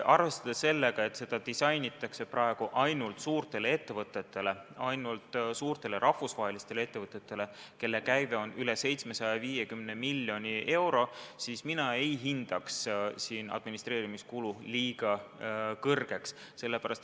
Arvestades sellega, et seda kavandatakse praegu ainult suurtele rahvusvahelistele ettevõtetele, kelle käive on üle 750 miljoni euro, mina ei hindaks seda administreerimiskulu väga suureks.